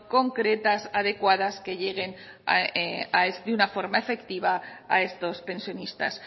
concretas adecuadas que lleguen de una forma efectiva a estos pensionistas